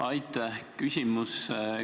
Aitäh!